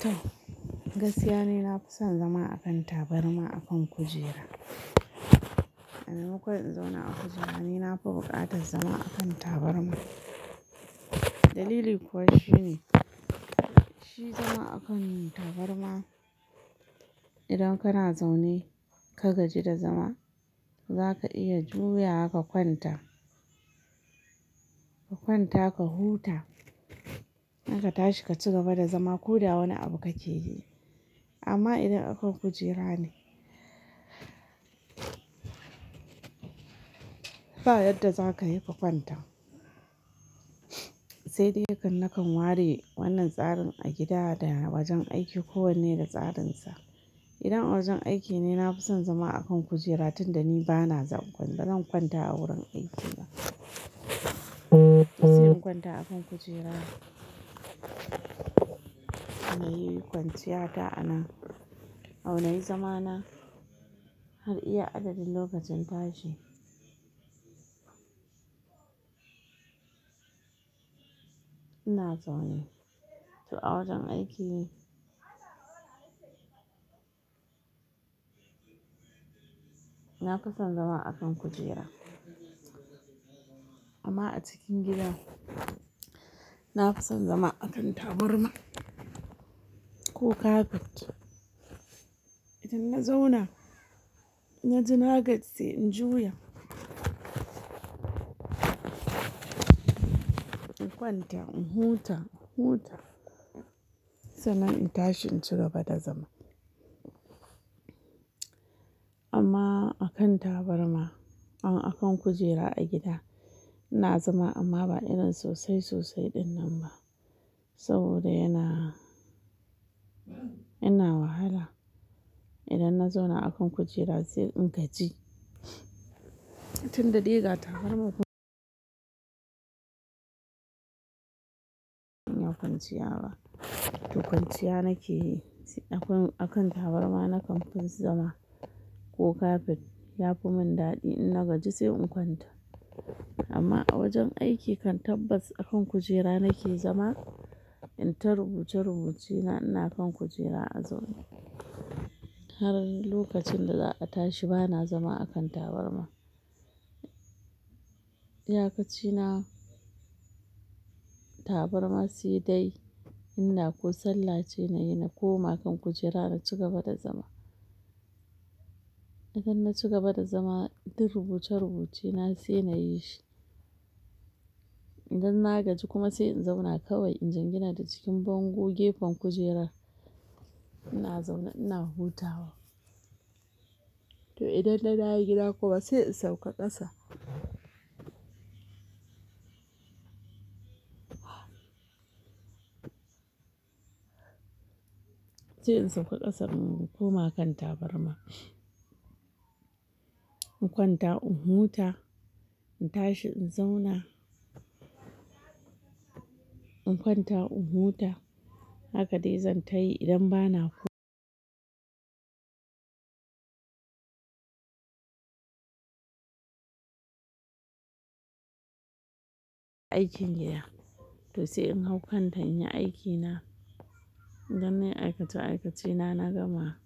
To gaskiya ni na fi son zama akan tabarma akan kujera. A maimako in zauna a kujera, ni na fi buƙatar zama akan tabarma. Dalili kuwa shi ne, shi zama akan tabarma idan kana zaune ka gaji da zama za ka iya juyawa ka kwanta, ka kwanta ka huta, a ka tashi ka cigaba da zama. Koda wani abu kake yi. Amma idan akan kujera ne, ba yadda za ka yi ka kwanta. Sai dai nakan nakan ware wannan tsarin a gida da a wajen aiki ko wanne da tsarin sa. Idan a wajen aiki ne, na fi son zama akan kujera tun da ni ba na za, ba zan kwanta a wurin aiki ba. Sai in kwanta akan kujera. Na yi kwanciya ta anan, au na yi zamana har iya adadin lokacin tashi. Ina zaune, to a wajen aiki na fi son zama a kan kujera. Amma a cikin gida na fi son zama akan tabarma ko kafet. Idan na zauna, na ji na gaji sai in juya. In kwanta in huta, in huta sannan in tashi in cigaba da zama. Amma a kan tabarma, a akan kujera a gida ina zama amma ba irin sosai sosai ɗin nan ba saboda yana, yana wahala. Idan na zauna akan kujera sai in gaji tun da dai ga tabarba kuma inna kwanciya ba. To kwanciya na ke yi akan, akan tabarma na kan fi zama ko kafet. Ya fi mun daɗi in na gaji sai in kwanta. Amma a wajen aiki kan tabbas akan kujera na ke zama, in ta rubuce rubuce na ina kan kujera a zaune har lokacin da za a tashi ba na zama akan tabarma. Iyakaci na tabarma sai dai ina ko sallah ce na yi na koma kan kujera na cigaba da zama. Idan na cigaba da zama tin rubuce rubuce na sai na yi shi. Idan na gaji kuma sai in zauna kawai, in jingina da cikin bango gefen kujerar. Ina zaune ina hutawa. To idan na dawo gida kuma sai in sauka ƙasa. Sai in sauka ƙasa in koma kan tabarma. In kwanta in huta, in tashi in zauna. In kwanta in huta hakan dai zan ta yi idan ba na aikin gida. To sai in hau kan ta in yi aikina. Idan nayi aikace aikace na, na gama